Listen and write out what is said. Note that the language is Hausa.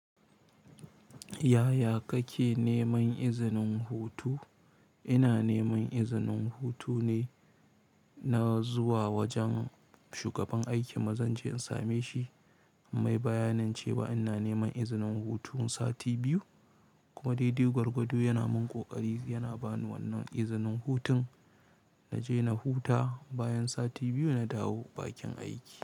Yaya kake neman izinin hutu? Ina neman izinin hutu ne, na zuwa wajen shugaban aikin maza inje in same shi. Mai bayanin cewa ina neman izinin hutu sati biyu kuma daidai gwargwado yana mun ƙoƙari yana bani wannan izinin hutun na je na huta. Bayan sati biyu na dawo bakin aiki.